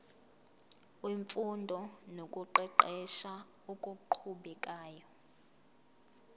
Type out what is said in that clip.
wemfundo nokuqeqesha okuqhubekayo